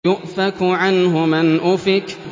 يُؤْفَكُ عَنْهُ مَنْ أُفِكَ